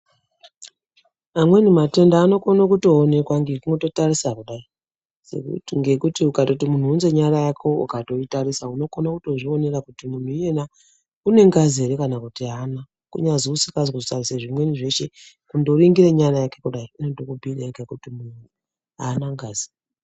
Amweni matenda anokone kutoonekwa ngekundotarisa kudai, ngekuti ukatoti muntu unze nyara yako kudai ukatoitarisa kudai unokone kutozvionera kuti mutu iyena unengazi ere kana kuti haana, kuyazwi usikazi kutarisa zvimweni zveshe. Kundoringire nyara yake kudai, inotokubhuyire yega kuti muntu haana ngazi.